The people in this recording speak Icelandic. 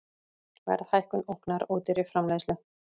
Verðhækkun ógnar ódýrri framleiðslu